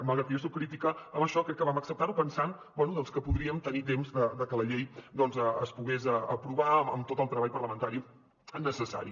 malgrat que jo soc crítica en això crec que vam acceptar ho pensant bé doncs que podríem tenir temps de que la llei es pogués aprovar amb tot el treball parlamentari necessari